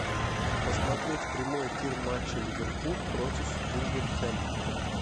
посмотреть прямой эфир матча ливерпуль против вулверхэмптона